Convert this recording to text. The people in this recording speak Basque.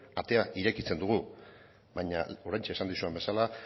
atea irekitzen dugu baina oraintxe esan dizudan bezala